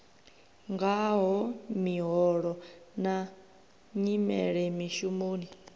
ngaho miholo na nyimelo mishumoni